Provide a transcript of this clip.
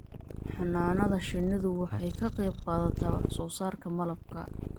Xannaanada shinnidu waxay ka qayb qaadataa wax soo saarka malabka.